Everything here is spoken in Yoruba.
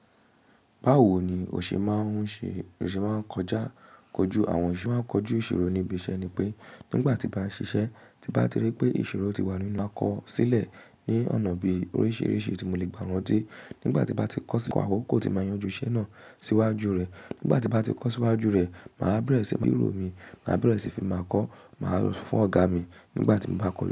Báwo ni òṣè máa ń ṣe, òṣè máa ń kọjá, kọju àwọn. Bi mo ṣè máa ń kọjú ìṣirò níbi iṣẹ́ ni pé nígbà tí bá ṣiṣẹ́, tí bá ti rí pé ìṣorò ti wà nínú, máa kọ sílẹ̀ ní ọ̀nà bí oríṣiríṣi tí mo lè gbà ran tí. Nígbà tí n bá ti kọ sí, kọ̀ àkọ́kọ́ tí máa yanjú iṣẹ́ náà síwájú rẹ̀. Nígbà tí bá ti kọ síwájú rẹ̀, màá bẹ̀rẹ̀ síí fi biró mi, màá bẹ̀rẹ̀ síí fi máa kọ, màá fún ọ̀gá mi nígbà tí mo bá kọ.